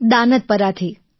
દાનદપરાથી